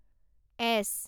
S